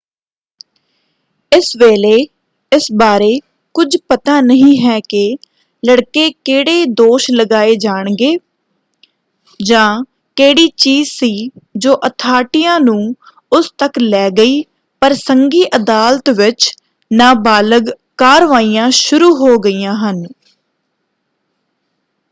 ਇਸ ਵੇਲੇ ਇਸ ਬਾਰੇ ਕੁਝ ਪਤਾ ਨਹੀਂ ਹੈ ਕਿ ਲੜਕੇ ਕਿਹੜੇ ਦੋਸ਼ ਲਗਾਏ ਜਾਣਗੇ ਜਾਂ ਕਿਹੜੀ ਚੀਜ਼ ਸੀ ਜੋ ਅਥਾਰਟੀਆਂ ਨੂੰ ਉਸ ਤੱਕ ਲੈ ਗਈ ਪਰ ਸੰਘੀ ਅਦਾਲਤ ਵਿੱਚ ਨਾਬਾਲਗ ਕਾਰਵਾਈਆਂ ਸ਼ੁਰੂ ਹੋ ਗਈਆਂ ਹਨ।